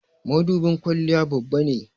mudubin kwalliya Babba ne